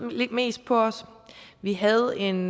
mest på os vi havde en